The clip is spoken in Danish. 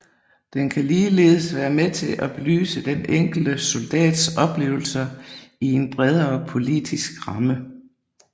Det kan ligeledes være med til at belyse den enkelte soldats oplevelser i en bredere politisk ramme